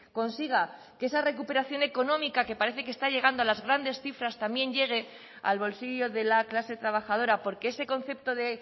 consiga que esa recuperación económica que parece que está llegando a las grandes cifras también llegue al bolsillo de la clase trabajadora porque ese concepto de